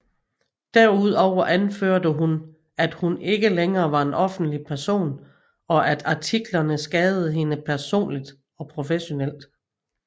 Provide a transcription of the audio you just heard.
Derudover anførte hun at hun ikke længere var en offentlig person og at artiklerne skadede hende personligt og professionelt